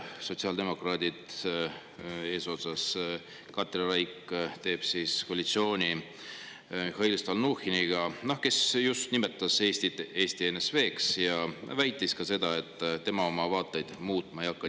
Sotsiaaldemokraadid, eesotsas Katri Raik, teevad koalitsiooni Mihhail Stalnuhhiniga, kes just nimetas Eestit Eesti NSV-ks ja väitis ka seda, et tema oma vaateid muutma ei hakka.